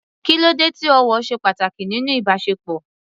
Kí ló dé tí ọ̀wọ̀ ṣe pàtàkì nínú ìbáṣepọ̀?